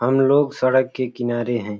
हम लोग सड़क के किनारे हैं।